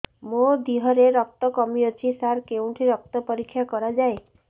ମୋ ଦିହରେ ରକ୍ତ କମି ଅଛି ସାର କେଉଁଠି ରକ୍ତ ପରୀକ୍ଷା କରାଯାଏ